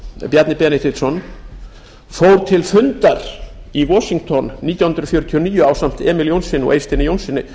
bjarni benediktsson fór til fundar í washington nítján hundruð fjörutíu og níu ásamt emil jónssyni og eysteini jónssyni